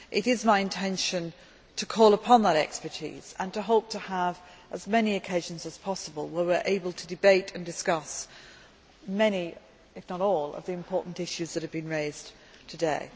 It is my intention to call upon that expertise and to hope to have as many occasions as possible where we are able to debate and discuss many if not all the important issues that have been raised today.